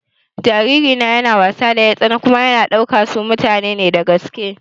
Jariri na yana wasa da 'yartsana kuma yana ɗaukan su mutane ne na gaske.